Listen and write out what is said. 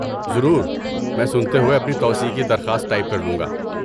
ضرور، میں سنتے ہوئے اپنی توسیع کی درخواست ٹائپ کر لوں گا۔